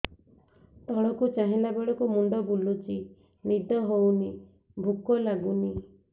ତଳକୁ ଚାହିଁଲା ବେଳକୁ ମୁଣ୍ଡ ବୁଲୁଚି ନିଦ ହଉନି ଭୁକ ଲାଗୁନି